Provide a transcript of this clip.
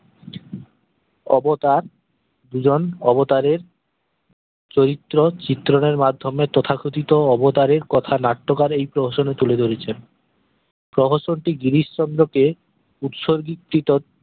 অবতার দুজন অবতারের চরিত্র চিত্র দয়ের মাধ্যমে তথাকথিত অবতারের কথা নাট্যকার এই প্রহসন এ তুলে ধরেছেন প্রহসনটি গিরিশচন্দ্র কে উৎসর্গিত কৃতত